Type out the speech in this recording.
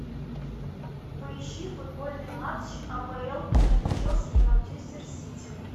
поищи футбольный матч апл между челси и манчестер сити